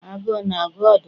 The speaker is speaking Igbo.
Agụụ na-agụ ọdụm?